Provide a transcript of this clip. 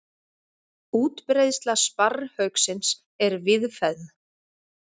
Útbreiðsla sparrhauksins er víðfeðm.